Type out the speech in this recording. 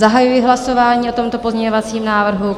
Zahajuji hlasování o tomto pozměňovacím návrhu.